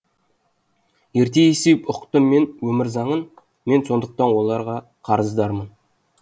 ерте есейіп ұқтым мен өмір заңын мен сондықтан оларға қарыздармын